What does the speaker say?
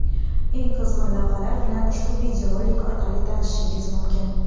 Eng qizg‘in lavhalar bilan ushbu videorolik orqali tanishishingiz mumkin.